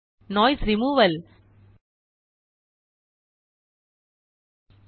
noise removal noise removal